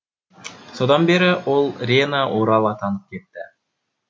содан бері ол рена орал атанып кетті